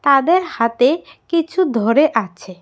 তাদের হাতে কিছু ধরে আছে।